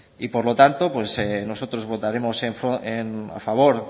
y por lo tanto pues nosotros votaremos a favor